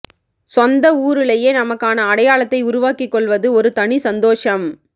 சொந்த ஊருலையே நமக்கான அடையாளத்தை உருவாக்கிக் கொள்வது ஒரு தனி சந்தோஷம்